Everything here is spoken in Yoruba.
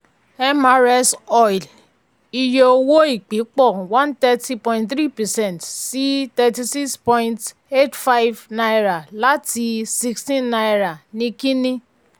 mrs oil iye owó ìpín pọ̀ one thirty point three percent sí thirty six point eight five naira láti sixteen naira ní kíní